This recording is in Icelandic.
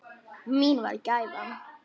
Mín var gæfan.